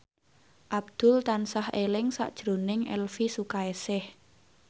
Abdul tansah eling sakjroning Elvy Sukaesih